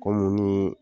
Kɔmi ni